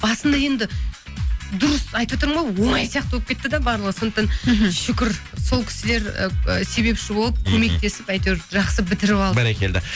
басында енді дұрыс айтватырмын ғой оңай сияқты болып кетті де барлығы сондықтан мхм шүкір сол кісілер ііі себепші болып көмектесіп әйтеуір жақсы бітіріп алдық бәрекелді